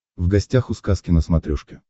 в гостях у сказки на смотрешке